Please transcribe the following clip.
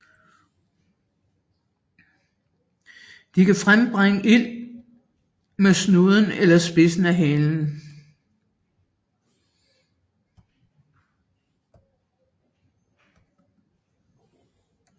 De kan frembringe ild med snuden eller spidsen af halen